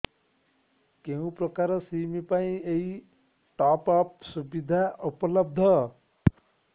କେଉଁ ପ୍ରକାର ସିମ୍ ପାଇଁ ଏଇ ଟପ୍ଅପ୍ ସୁବିଧା ଉପଲବ୍ଧ